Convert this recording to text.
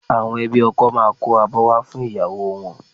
Àwọn ẹbí ọkọ máa kó abọ́ wá fún ìyàwó wọn